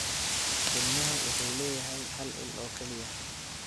Ilmuhu wuxuu leeyahay hal il oo keliya.